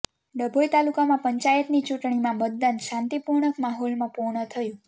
ડભોઇ તાલુકામાં પંચાયતની ચૂંટણીમાં મતદાન શાંતિપૂર્ણ માહોલમાં પૂર્ણ થયંુ